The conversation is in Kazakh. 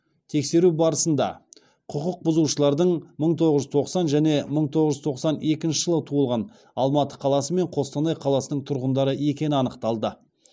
тексеру барысында құқықбұзушылардың мың тоғыз жүз тоқсан және мың тоғыз жүз тоқсан екінші жылы туылған алматы қаласы мен қостанай қаласының тұрғындары екені анықталды